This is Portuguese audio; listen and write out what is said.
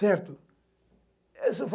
Certo? Essa